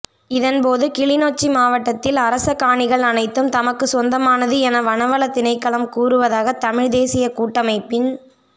இதன்போது கிளிநொச்சி மாவட்டத்தில் அரச காணிகள் அனைத்தும் தமக்கு சொந்தமானது என வனவள திணைக்களம் கூறுவதாக தமிழ்தேசிய கூட்டமைப்பின்